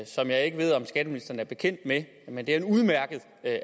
som jeg ikke ved om skatteministeren er bekendt med men det er en udmærket